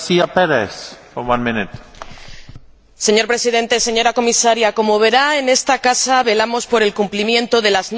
Señor Presidente, señora Comisaria, como verá, en esta casa velamos por el cumplimiento de las normas, incluso de las que no han entrado en vigor.